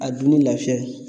A dunni lafiya ye